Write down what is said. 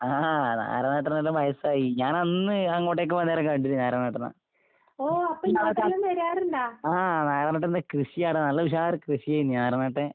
ആഹ് നാരായണേട്ടനെല്ലാം വയസ്സായി. ഞാനന്ന് അങ്ങോട്ടേക്ക് പോകാന്നേരം കണ്ടിനു നാരായണേട്ടനെ. ആഹ് നാരായണേട്ടന്റെ കൃഷിയാണ് നല്ല ഉഷാറ് കൃഷിയായിരുന്ന് നാരായണേട്ടൻ.